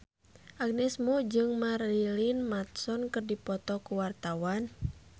Agnes Mo jeung Marilyn Manson keur dipoto ku wartawan